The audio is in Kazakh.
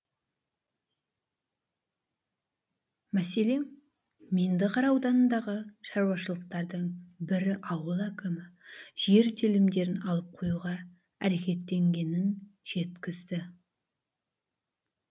мәселен меңдіқара ауданындағы шаруашылықтардың бірі ауыл әкімі жер телімдерін алып қоюға әрекеттенгенін жеткізді